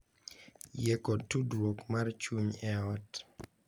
Yie kod tudruok mar chuny e ot